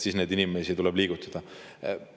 Siis neid inimesi tuleb liigutada.